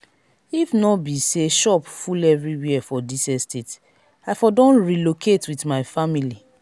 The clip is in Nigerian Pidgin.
if no be say shop full everywhere for dis estate i for don relocate with my family